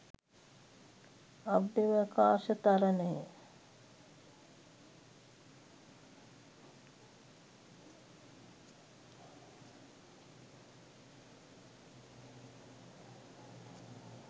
අභ්‍යවකාශ තරණය.